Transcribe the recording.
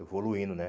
Evoluindo, né?